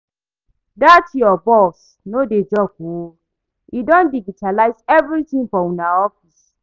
Dat your boss no dey joke oo, e don digitalise everything for una office